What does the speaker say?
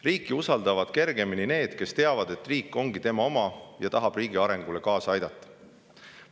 Riiki usaldavad kergemini need, kes teavad, et riik ongi tema oma, ja tahavad riigi arengule kaasa aidata.